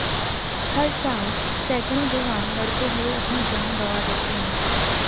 हर साल सैकड़ों जवान लड़ते हुए अपनी जान गंवा देते हैं